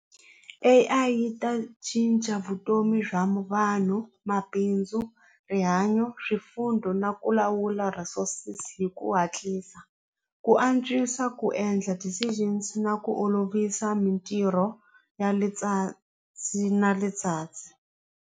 A_I yi ta cinca vutomi bya vanhu mabindzu rihanyo na ku lawula resources hi ku hatlisa ku antswisa ku endla decisions na ku olovisa mitirho ya le .